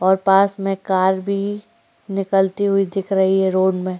और पास में कार भी निकलती हुई दिख रही है रोड में --